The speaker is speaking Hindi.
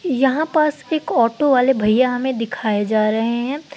यहां पास एक ऑटो वाले भैया हमें दिखाए जा रहे हैं।